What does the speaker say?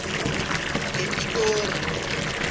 ngepitori